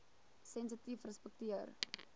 sensitiefrespekteer